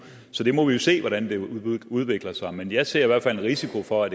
så vi må se hvordan det udvikler sig men jeg ser i hvert fald en risiko for at